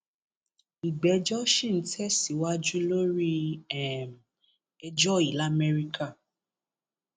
ìgbẹjọ sì ń tẹsíwájú lórí um ẹjọ yìí lamẹríkà